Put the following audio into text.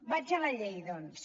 vaig a la llei doncs